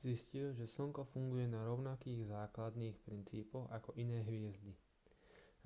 zistili že slnko funguje na rovnakých základných princípoch ako iné hviezdy